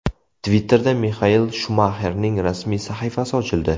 Twitter’da Mixael Shumaxerning rasmiy sahifasi ochildi.